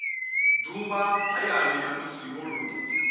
ṱuvha hayani nahone vho ṱuvha